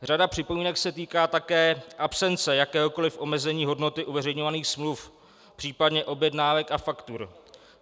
Řada připomínek se týká také absence jakéhokoli omezení hodnoty uveřejňovaných smluv, případně objednávek a faktur.